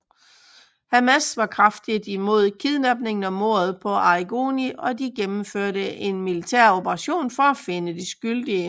Hamas var kraftigt imod kidnappingen og mordet på Arrigoni og de gennemførte en militær operation for at finde de skyldige